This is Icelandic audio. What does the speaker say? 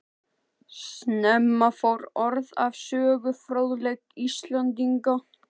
Snemma fór orð af sögufróðleik Íslendinga.